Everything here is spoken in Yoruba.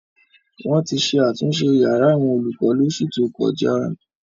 Wọ́n ti ṣe àtúnṣe yàrá àwọn olùkọ lóṣù tó kọjá.